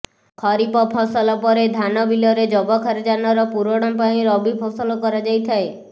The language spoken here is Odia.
ଖରିପ ଫସଲ ପରେ ଧାନ ବିଲରେ ଯବକ୍ଷାରଜାନର ପୂରଣ ପାଇଁ ରବି ଫସଲ କରାଯାଇଥାଏ